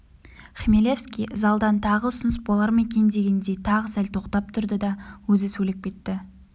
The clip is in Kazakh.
хмелевский залдан тағы ұсыныс болар ма екен дегендей тағы сәл тоқтап тұрды да өзі сөйлеп кетті